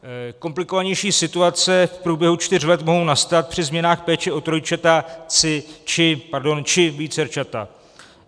Komplikovanější situace v průběhu čtyř let mohou nastat při změnách péče o trojčata či vícerčata.